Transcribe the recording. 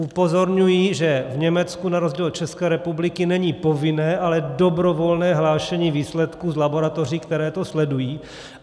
Upozorňuji, že v Německu na rozdíl od České republiky není povinné, ale dobrovolné hlášení výsledků z laboratoří, které to sledují.